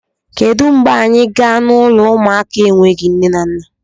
Kedu mgbe anyị gaa n'ụlọ ụmụaka enweghị nne na nna!